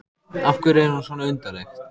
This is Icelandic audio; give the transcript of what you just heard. Af hverju er hún svona undarleg?